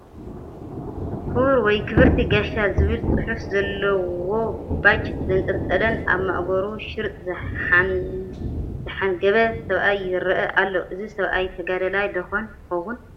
ክቡር ወይ ክብርቲ ጋሻ ዝብል ፅሑፍ ዘለዎ ባጅ ዘንጠልጠለን ኣብ ማእገሩ ሽርጥ ዘሓንገበ ሰብኣይ ይርአ ኣሎ፡፡ እዚ ሰብኣይ ተጋዳላይ ዶኾን ይኸውን?